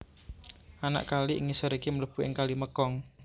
Anak kali ing ngisor iki mlebu ing Kali Mekong